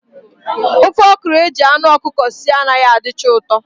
Ofe okro eji anụ ọkụkọ sie anaghị adịcha ụtọ